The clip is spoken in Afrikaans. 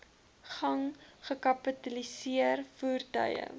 gang gekapitaliseer voertuie